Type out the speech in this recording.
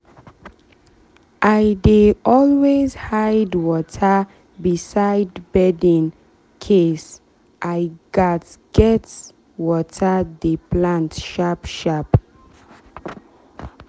i dey always hide water beside bedin case i gats water the plant sharp sharp.